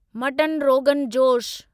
mutton rogan जोश